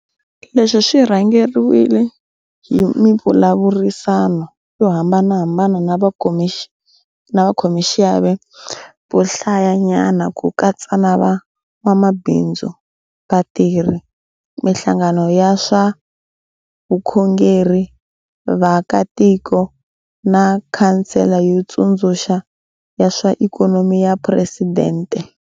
Leswi swi rhangeriwile hi mivulavurisano yo hambanahambana na vakhomaxiave vo hlayanyana ku katsa na van'wamabindzu, vatirhi, mihlangano ya swa vukhongeri, vaakatiko na Khansele yo Tsundzuxa ya swa Ikhonomi ya Phuresidente.